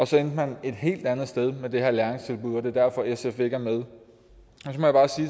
så endte man et helt andet sted med det her læringstilbud og det er derfor sf ikke er med